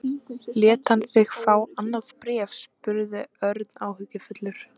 Lét hann þig fá annað bréf? spurði Örn áhyggjufullur.